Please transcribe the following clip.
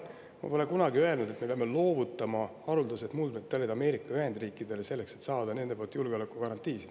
Ma pole kunagi öelnud, et me peame loovutama haruldased muldmetallid Ameerika Ühendriikidele, selleks et saada nendelt julgeolekugarantiisid.